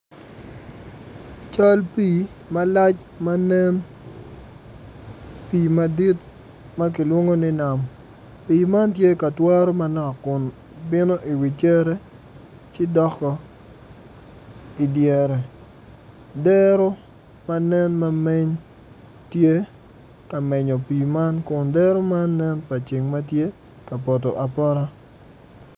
Cal pii malac manen pii madit ma kilwongo ni nam pii man tye ka twaro manok kun bino iwi cere ci dok-o idyere dero manen ma meny tye ka menyo pii man kun dero man nenpa ceng matye ka poto aoota